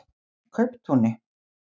Kauptúni